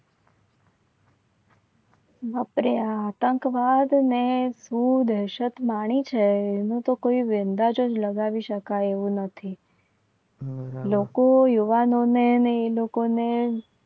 બાપરે આતંકવાદને શું દહેશત માની છે એના તો કોઈ અંદાજ જ લગાવી શકાય એવું નથી. લોકો યુવાનોને એ લોકોને